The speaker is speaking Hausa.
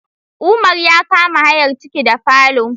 Umar ya ka ma hayar ciki da falo